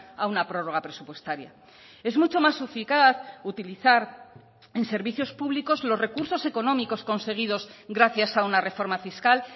a una prórroga presupuestaria es mucho más eficaz utilizar en servicios públicos los recursos económicos conseguidos gracias a una reforma fiscal